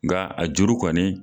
Nka a juru kɔni.